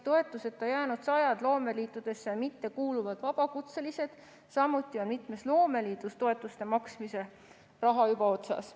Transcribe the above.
Toetuseta on jäänud sajad loomeliitudesse mittekuuluvad vabakutselised, samuti on mitmes loomeliidus toetuste maksmise raha juba otsas.